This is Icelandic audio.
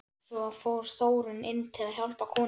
Svo fór Þórunn inn til að hjálpa konunni.